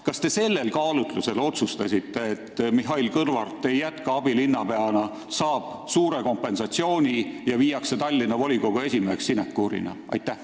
Kas te sellel kaalutlusel otsustasitegi, et Mihhail Kõlvart ei jätka abilinnapeana, vaid saab suure kompensatsiooni ja sinekuurina Tallinna volikogu esimehe ametikoha?